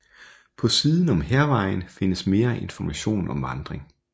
På siden om Hærvejen findes mere information om vandring